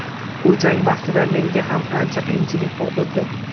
U jang vaqtida menga ham ancha qiyinchilik tug‘dirdi.